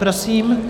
Prosím.